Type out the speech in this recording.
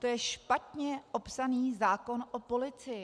To je špatně opsaný zákon o policii.